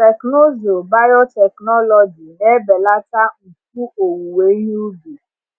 Teknụzụ biotechnology na-ebelata mfu owuwe ihe ubi